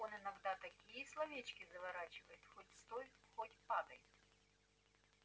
он иногда такие словечки заворачивает хоть стой хоть падай